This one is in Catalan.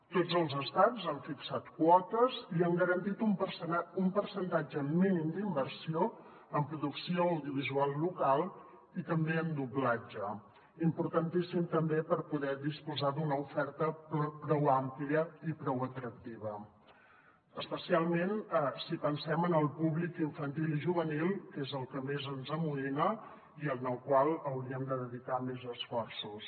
tots els estats han fixat quotes i han garantit un percentatge mínim d’inversió en producció audiovisual local i també en doblatge importantíssim també per poder disposar d’una oferta prou àmplia i prou atractiva especialment si pensem en el públic infantil i juvenil que és el que més ens amoïna i en el qual hauríem de dedicar més esforços